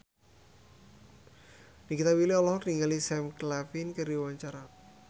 Nikita Willy olohok ningali Sam Claflin keur diwawancara